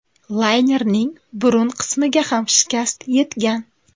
Laynerning burun qismiga ham shikast yetgan.